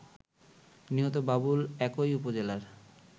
নিহত বাবুল একই উপজেলার